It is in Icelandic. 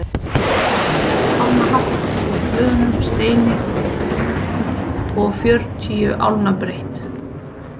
Virkið er um sex álna hátt úr hlöðnum steini og fjörutíu álna breitt.